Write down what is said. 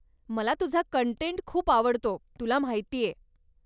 मला तुझा कंटेंट खूप आवडतो, तुला माहितेय.